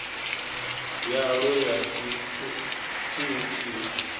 yalwo ya si t ut